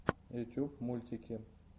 ютуб мультики